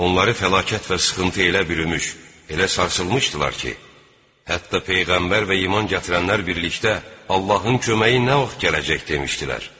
Onları fəlakət və sıxıntı elə bürümüş, elə sarsılmışdılar ki, hətta peyğəmbər və iman gətirənlər birlikdə Allahın köməyi nə vaxt gələcək demişdilər.